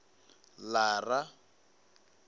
lara